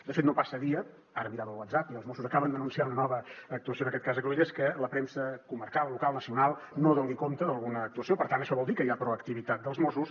de fet no passa dia ara mirava el whatsapp i els mossos acaben d’anunciar una nova actuació en aquest cas a cruïlles que la premsa comarcal local nacional no doni compte d’alguna actuació per tant això vol dir que hi ha proactivitat dels mossos